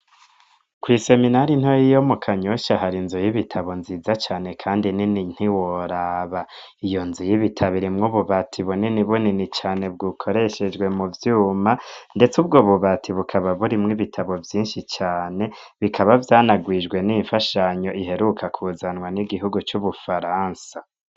Kw'iseminari ntoya yo mu Kanyosha hari inzu y'ibitabo nziza cane kandi nini ntiworaba iyo nzu y'ibitabo irimwo ububati bunini bunini cane b'ukoreshejwe mu vyuma ndetse ubwo bubati bukaba buri mw'ibitabo vyishi cane bikaba vyanarwijwe n'imfashanyo iheruka kuzanwa n'igihugu cu Bufaransa.